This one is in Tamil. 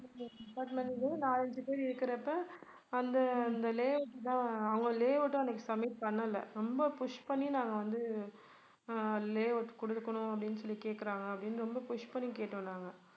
நாலு ஐந்து பேர் இருக்குறப்ப அந்த அந்த layout தான் அவங்க layout உம் அவங்க submit பண்ணல ரொம்ப push பண்ணி நாங்க வந்து ஆஹ் layout குடுக்கணும் அப்படின்னு சொல்லி கேக்குறாங்க அப்படின்னு ரொம்ப push பண்ணி கேட்டோம் நாங்க